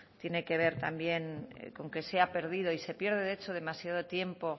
tiene que ver también con que se ha perdido y se pierde de hecho demasiado tiempo